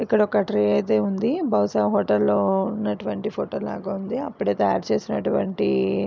ఇక్కడ ఒక ట్రీ ఐతే ఉంది. బహుశా ఏ హోటల్ లో ఉన్నటువంటి ఫోటో లాగా ఉంది. అప్పుడే తాయారు చేసినటువంటి --